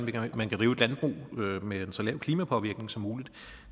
man kan drive et landbrug med en så lav klimapåvirkning som muligt